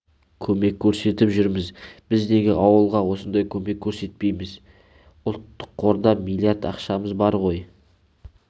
көмек көрсетіп жүрміз біз неге ауылға осындай көмек көрсетпейміз ұлттық қорда млрд ақшамыз бар ғой